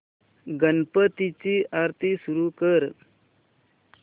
गणपती ची आरती सुरू कर